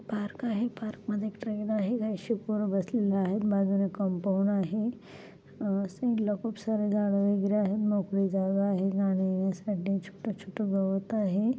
Park आहे पार्कमध्ये एक ट्रेन आहे बसलेले आहे बाज़ूला एक कंपाऊंड आहे अं खूप सारे झाडं वगैरे आहेत मोकळी ज़ागा आहे जाण्या येण्यासाठी छोटं छोटं गवत आहे.